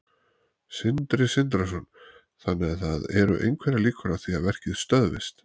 Sindri Sindrason: Þannig að það eru einhverjar líkur á því að verkið stöðvist?